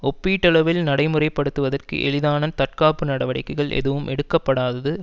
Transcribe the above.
ஒப்பீட்டளவில் நடைமுறை படுத்துவதற்கு எளிதான தற்காப்பு நடவடிக்கைகள் எதுவும் எடுக்கப்படாதது